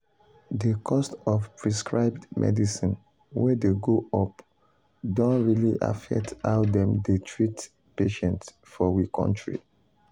the cost of prescribed medicine wey dey go up don really affect how dem dey treat patients for we kontry.